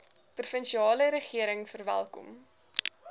provinsiale regering verwelkom